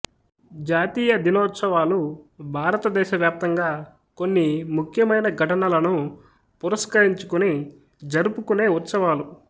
జాతీయ దినోత్సవాలు భారతదేశ వ్యాప్తంగా కొన్ని ముఖ్యమైన ఘటనలను పురస్కరించుకుని జరుపుకునే ఉత్సవాలు